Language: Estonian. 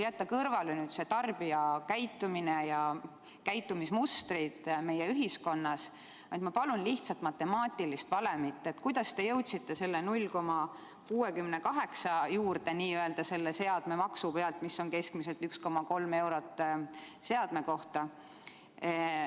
Jättes kõrvale tarbija käitumise ja käitumismustrid meie ühiskonnas, ma palun lihtsat matemaatilist valemit, kuidas te jõudsite selle 0,68 juurde selle seadmemaksu pealt, mis on keskmiselt 1,3 eurot seadme kohta?